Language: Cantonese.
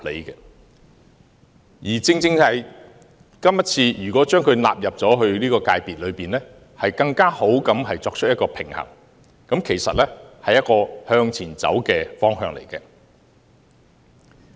如果今次將商會納入出版界，反而能夠作出更好的平衡，其實是一個向前走的方向。